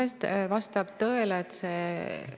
Kas te jagate oma parteijuhtide vaimustust Trumpi protektsionismi osas?